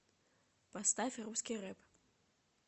поставь русский рэп